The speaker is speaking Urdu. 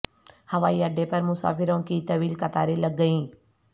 ہوائی اڈے پر مسافروں کی طویل قطاریں لگ گئیں